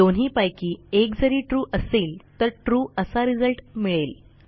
दोन्हीपैकी एक जरी ट्रू असेल तर trueअसा रिझल्ट मिळेल